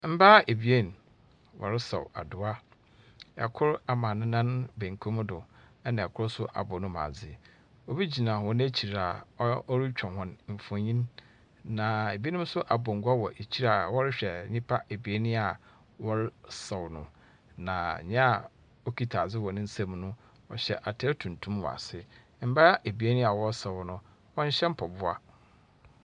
Mbaa ebien wɔresaw adowa. Kor ama ne nan benkum do, ɛnna kor nso abɔ ne mu adze. Obi gyina hɔn ekyir a ɔretwa hɔn mfonin, na ebinom nso abɔ ngua a wɔrehwɛ nnipa ebien yi a wɔresaw no, na nea ɔkita adze wɔ ne nsam no, ɔhyɛ atar tuntum wɔ ase. Mbaa ebien a wɔresaw no, wɔnhyɛ mpaboa.